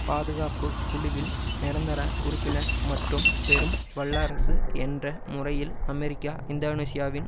பாதுகாப்பு குழுவில் நிரந்தர உறுப்பினர் மற்றும் பெரும் வல்லரசு என்ற முறையில் அமெரிக்கா இந்தோனேசியாவின்